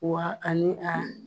Wa ani a